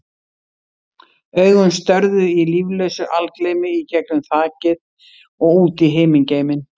Augun störðu í líflausu algleymi í gegnum þakið og út í himingeiminn.